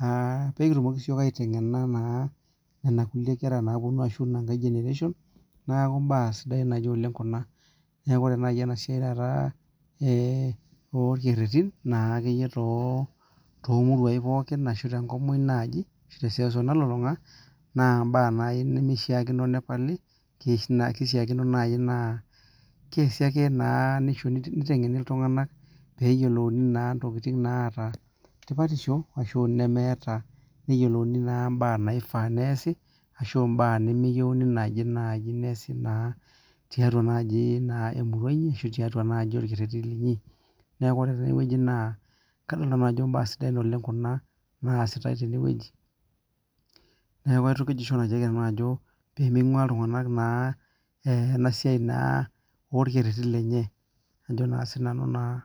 naa pee kitumoki siyiok aiteng'ena naa nena kuliek kera naaponu ashu ina nkae generation, neeku imbaa sidain ake oleng' kuna. Neeku ore nai ena siai taata ee orkererin naara akeyie too too muruain pookin ashu tenkop muuj naaji te seuseu nalulung'a naa mbaa nai nemishaakino nepali ki na kishaakino nai naa keasi ake naa nishu niteng'eni iltung'anak peeyiolouni naa intokitin naata tipatisho ashu nemeeta, neyiolouni naa imbaa naifaa neesi ashu mbaa nemeyeuni naaji nai neesi naa tiatua naaji naa emurua inyi ashu tiatua naaji orkereri linyi. Neeku ore tene wueji naa kadol nanu ajo mbaa sidain oleng' kuna naasitai tene wueji. Neeku aitukujisho nanu ajo pee ming'ua iltung'anak naa ena siai naa orekereri lenye ajo naa sinanu naa .